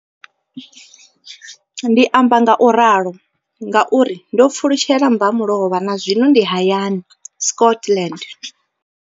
Ndi amba ngauralo nga uri ndo pfulutshela mbamulovha na zwino ndi hayani, Scotland.